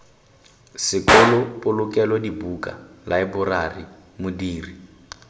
sekolo polokelo dibuka laeborari modiri